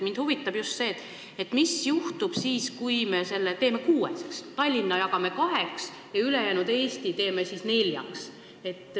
Mind huvitab see, mis juhtub siis, kui me teeme kuue ringkonnaga süsteemi, st jagame Tallinna kaheks ja ülejäänud Eesti teeme neljaks ringkonnaks.